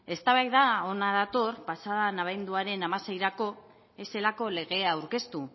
eztabaida hona dator pasa den abenduaren hamaseirako ez zelako legea aurkeztu